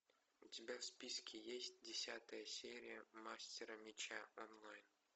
у тебя в списке есть десятая серия мастера меча онлайн